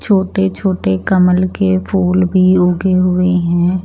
छोटे छोटे कमल के फूल भी उगे हुए है।